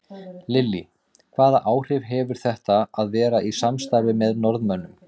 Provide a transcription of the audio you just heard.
Lillý: Hvaða áhrif hefur þetta að vera í samstarfi með Norðmönnum?